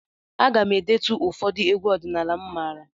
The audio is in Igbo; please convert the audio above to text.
Aga m e detu ụfọdụ egwu ọdịnala m maara.